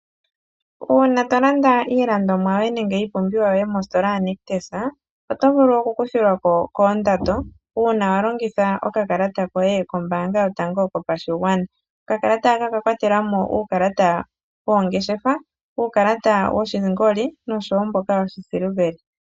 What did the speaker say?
Uuna to landa iilandomwa yoye nenge iipumbiwa yoye mongeshefa yoNictus ,oto vulu okukuthilwa ko koondando uuna wa longitha okakalata koye kombaanga yotango yopashigwana. Okakalata haka oka kwatela mo uukalata woongeshefa, uukalata woshingoli oshowo mboka woshisiliveli.